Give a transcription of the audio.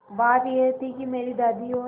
बात यह थी कि मेरी दादी और